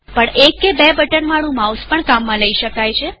પણ એક કે બે બટનવાળું માઉસ પણ કામમાં લઇ શકાય